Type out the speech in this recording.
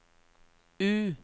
U